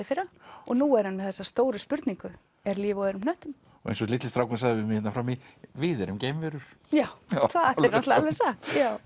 fyrra og nú er hann með þessa stóru spurningu er líf á öðrum hnöttum eins og litli strákurinn sagði hérna frammi við erum geimverur já já það er alveg satt